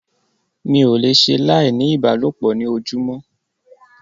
Mi ò le ṣe láì ní ìbálòpọ̀ ní ojúmọ́.